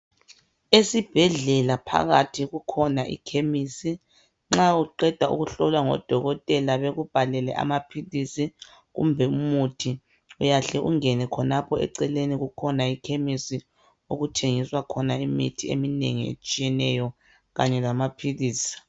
Esibhedlela phakathi kukhona ikhemisi nxa uqeda ukuhlolwa ngodokotela bekubhalele amaphilisi. Kumbe umuthi, uyahle ungene khonapho eceleni kukhona ikhemesi okuthengiswa khona imithi eminengi etshiyeneyo kanye lamaphilisi.